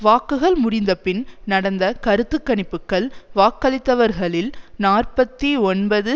வாக்குகள் முடிந்த பின் நடந்த கருத்து கணிப்புக்கள் வாக்களித்தவர்களில் நாற்பத்தி ஒன்பது